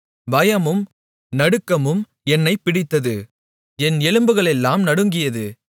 பயமும் நடுக்கமும் என்னைப் பிடித்தது என் எலும்புகளெல்லாம் நடுங்கியது